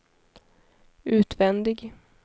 utvändig